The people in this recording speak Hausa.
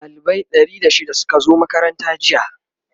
dalibai Ɗari da shida Suka zo makaranta jiya